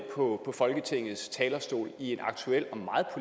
på folketingets talerstol i en aktuel